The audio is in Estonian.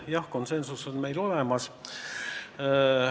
Jah, konsensus on meil olemas.